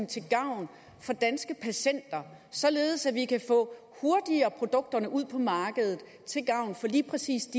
til gavn for danske patienter således at vi kan få produkterne hurtigere ud på markedet til gavn for lige præcis